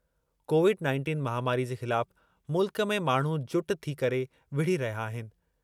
Covid nineteen महामारी जे ख़िलाफ़ मुल्क में माण्हू जुट थी करे विढ़ी रहिया आहिनि।